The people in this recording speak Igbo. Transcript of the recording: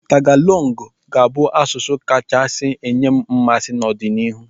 Tagalong ga-abụ asụsụ ga-akacha enye m mmasị n'ọdịnihu.